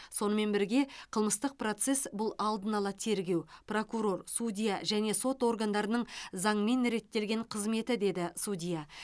сонымен бірге қылмыстық процесс бұл алдын ала тергеу прокурор судья және сот органдарының заңмен реттелген қызметі деді судья